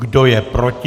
Kdo je proti?